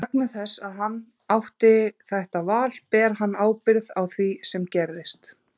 Og vegna þess að hann átti þetta val ber hann ábyrgð á því sem gerist.